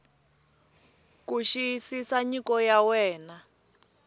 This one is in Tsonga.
ku xiyisisa nyiko ya wena